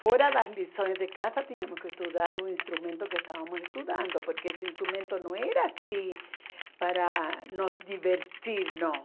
Fora das lições de casa, tínhamos que estudar um instrumento que estávamos estudando, porque esse instrumento não era assim para nos divertir, não.